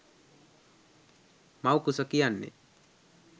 මව්කුස කියන්නේ